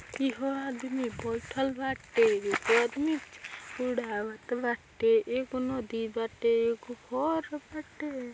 एगो आदमी बैठल बाटे एगो घर बाटे एगो उडावत बाटे एगो नदी बाटे एगो घर बाटे |